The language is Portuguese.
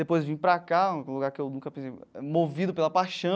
Depois vim para cá, que é um lugar que eu nunca pensei, movido pela paixão.